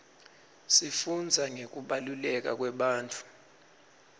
sifundza ngekubaluleka kwebantfu